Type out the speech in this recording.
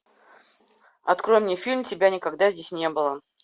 открой мне фильм тебя никогда здесь не было